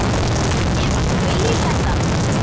Nema þú viljir þetta?